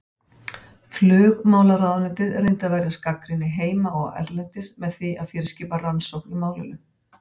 Flugmálaráðuneytið reyndi að verjast gagnrýni heima og erlendis með því að fyrirskipa rannsókn í málinu.